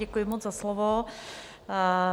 Děkuji moc za slovo.